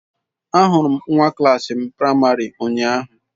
Ahụrụ m nwa klas m praịmarị ụnyahụ.